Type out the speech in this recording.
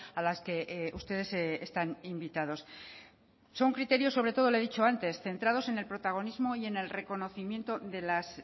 a las que ustedes están invitados son criterios sobre todo le he dicho antes centrados en el protagonismo y en el reconocimiento de las